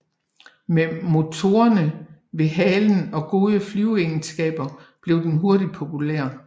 Med motorerne ved halen og gode flyveegenskaber blev den hurtigt populær